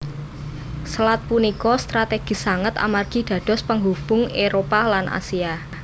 Selat punika strategis sanget amargi dados penghubung Éropah lan Asia